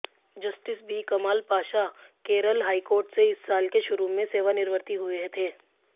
justice B Kamal Pasha Kerala high court से इस साल के शुरू में सेवानिवृत्ति हुए थे